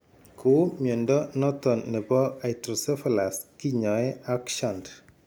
Kou mnyondo noton nebo hydrocephalus kinyae ak shunt